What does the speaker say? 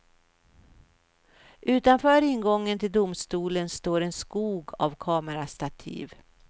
Utanför ingången till domstolen står en skog av kamerastativ.